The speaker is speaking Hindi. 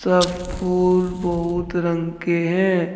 सब फूल बहुत रंग के हैं।